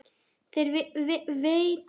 Þér veitir ekki af að hvíla þig, elskan mín.